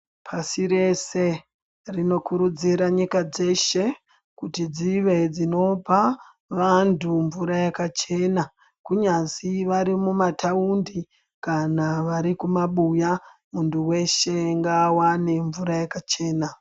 Pashirese rinokuudzira nyika dzeshe, kuti dzive dzinopa vantu mvura yakachena kunyazi varimumataundi kana varikumabuya, muntu weshe ngawane mvura yakachena.